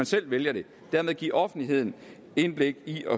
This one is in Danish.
selv vælger det give offentligheden indblik i og